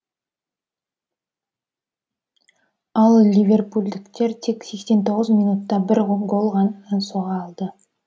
ал ливерпульдіктер тек сексен тоғыз минутта бір гол гана соға алды